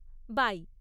By!